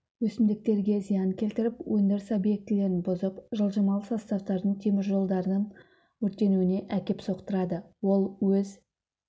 өсімдіктерге зиян келтіріп өндіріс объектілерін бұзып жылжымалы составтардын темір жолдардын өртенуіне әкеп соқтырады ол өз